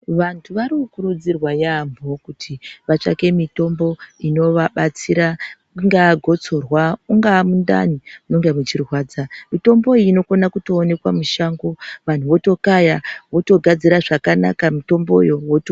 Vantu varikukurudzirwa yaambo kuti vatsvage mitombo inowabatsira ingaa gutsurwa mungaa mundani munenge muchirwadza mitombo iyi inokone kuonekwa mushango vanhu wotokaya wotogadzira zvakanaka mutomboyo voto.